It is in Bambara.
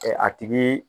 A tigi